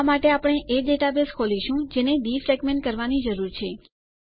આ માટે આપણે એ ડેટાબેઝ ખોલીશું જેને ડીફ્રેગમેન્ટ કરવાની જરૂર છે